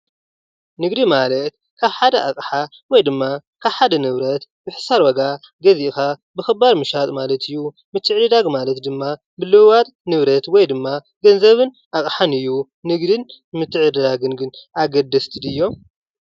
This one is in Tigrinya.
ንግዲ ማለት ካብ ሓደ ኣቅሓ ወይ ድማ ካብ ሓደ ንብረት ብሕሳር ዋጋ ገዚእካ ብክባር ምሻጥ ማለት እዩ ።ምትዕድዳግ ማለት ድማ ምልዉዋጥ ንብረት ወይ ድማ ገንዘብን ኣቅሓን እዩ ።ንግዲን ምትዕድዳግን ግን ኣገደስቲ ድዮም ?